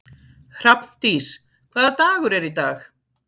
Hrafndís, hvaða dagur er í dag?